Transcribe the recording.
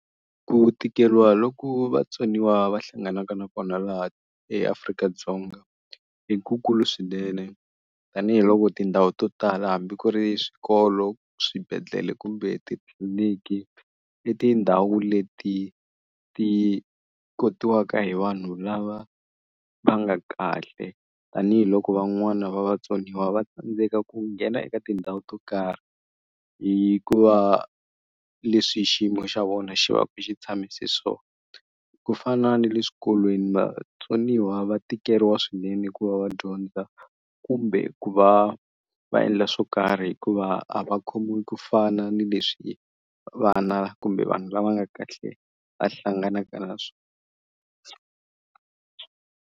Ku tikeriwa loku vatsoniwa va hlanganaka na kona laha eAfrika-Dzonga i ku kulu swinene tanihiloko tindhawu to tala hambi ku ri swikolo swibedhlele kumbe titliliniki i tindhawu leti ti kotikawa hi vanhu lava va nga kahle tanihiloko van'wana va vatsoniwa va tsandzeka ku nghena eka tindhawu to karhi hi ku va leswi hi xiyimo xa vona xi va ku xi tshamise swona ku fana ni le swikolweni vatsoniwa va tikeriwa swinene ku va va dyondza kumbe ku va va endla swo karhi hikuva a va khomiwi ku fana ni leswi vana kumbe vanhu lava nga kahle va hlanganaka na swona.